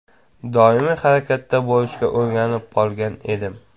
Doimiy harakatda bo‘lishga o‘rganib qolgan edim.